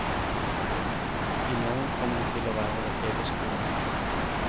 I morgen kom det til å være over hele skolen.